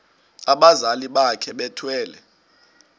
abazali bakhe bethwele